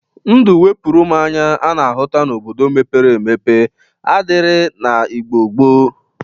Ndụ 'wepụrụ mụ anya' a na-ahụta n'obodo mepere emepe adịrighi na Igbo gboo